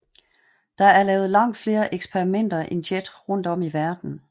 Der er lavet langt flere eksperimenter end JET rundt om i verden